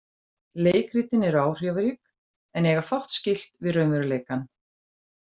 Leikritin eru áhrifarík en eiga fátt skylt við raunveruleikann.